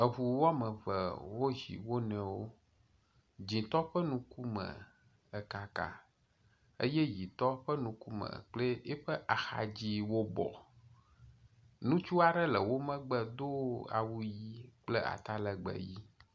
Eŋu woame eve wozi wo nɔewo, dzɛ̃tɔ ƒe ŋkume ekaka eye ʋitɔ ƒe ŋkume kple yiƒe axa dziwo wo bɔ. Ŋutsu aɖe le wo megbe do awu ʋi kple ata legbee ʋi.